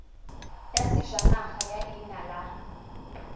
ya sejanaga ya leina la